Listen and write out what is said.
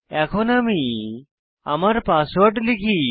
এখন আমি আমার পাসওয়ার্ড লিখি